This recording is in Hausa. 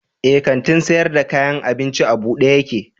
Eh, kantin sayar da kayan abincin a buɗe yake